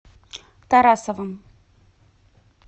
тарасовым